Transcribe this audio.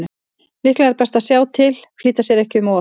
Líklega er best að sjá til, flýta sér ekki um of.